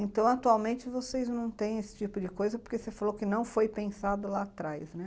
Então, atualmente, vocês não têm esse tipo de coisa porque você falou que não foi pensado lá atrás, né?